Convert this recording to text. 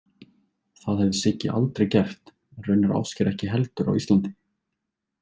Það hefði Siggi aldrei gert en raunar Ásgeir ekki heldur á Íslandi.